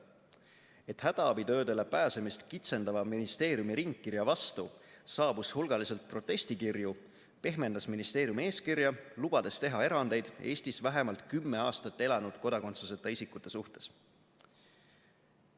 Et hädaabitöödele pääsemist kitsendava ministeeriumi ringkirja vastu saabus hulgaliselt protestikirju, pehmendas ministeerium eeskirja, lubades teha erandeid Eestis vähemalt kümme aastat elanud kodakondsuseta isikute suhtes.